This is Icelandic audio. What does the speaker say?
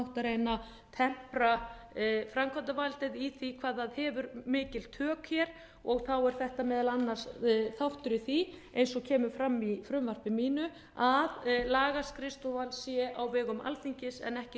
að reyna að tempra framkvæmdavaldið í því hvað það hefur mikil tök hér og er þetta meðal annars þáttur í því eins og kemur fram í frumvarpi mínu að lagaskrifstofan sé á vegum alþingis en ekki